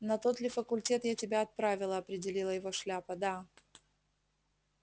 на тот ли факультет я тебя отправила опередила его шляпа да